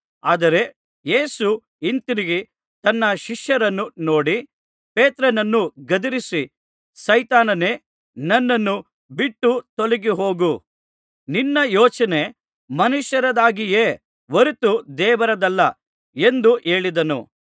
ಆದರೆ ಯೇಸು ಹಿಂತಿರುಗಿ ತನ್ನ ಶಿಷ್ಯರನ್ನು ನೋಡಿ ಪೇತ್ರನನ್ನು ಗದರಿಸಿ ಸೈತಾನನೇ ನನ್ನನ್ನು ಬಿಟ್ಟು ತೊಲಗಿ ಹೋಗು ನಿನ್ನ ಯೋಚನೆ ಮನುಷ್ಯರದಾಗಿದೆಯೇ ಹೊರತು ದೇವರದಲ್ಲ ಎಂದು ಹೇಳಿದನು